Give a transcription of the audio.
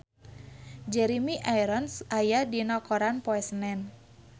Jeremy Irons aya dina koran poe Senen